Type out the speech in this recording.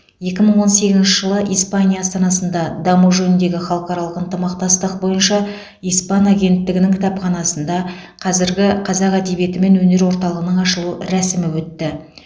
екі мың он сегізінші жылы испания астанасында даму жөніндегі халықаралық ынтымақтастық бойынша испан агенттігінің кітапханасында қазіргі қазақ әдебиеті мен өнер орталығының ашылу рәсімі өтті